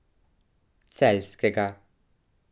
Celjskega.